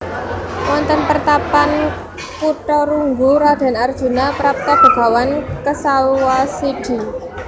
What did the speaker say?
Wonten Pertapan Kutharunggu Raden Arjuna prapta Begawan Kesawasidhi